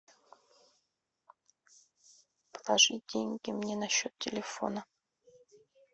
положить деньги мне на счет телефона